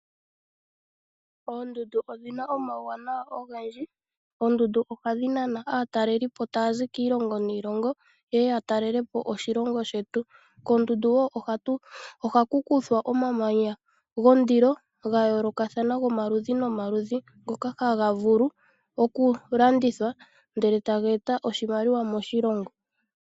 Oondundu odhina omauwanawa ogendji. Oondundu ohadhi nana aataleliipo taya zi kiilongo niilongo ye ye yatelele po oshilongo shetu, koondundu woo ohaku kuthwa omamanya gondilo gayoolokathana gomaludhi nomaludhi ngoka haga vulu oku landithwa ndele taga eta oshimaliwa moshilongo.